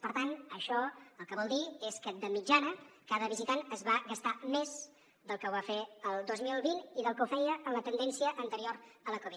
per tant això el que vol dir és que de mitjana cada visitant es va gastar més del que ho va fer el dos mil vint i del que ho feia en la tendència anterior a la covid